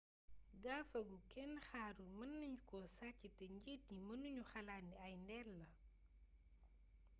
gafa gu kénn xaarul meenagnuko sacc té njiit yi meennagnu xalaat ni ay ndéll la